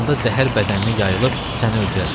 Onda zəhər bədəninə yayılıb səni öldürər.